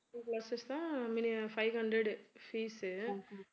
two classes தான் minimum five hundred fees